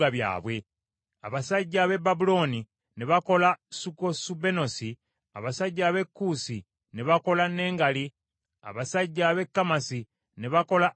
Abasajja ab’e Babulooni ne bakola Sukkosubenosi, abasajja ab’e Kuusi ne bakola Nengali, abasajja ab’e Kamasi ne bakola Asima: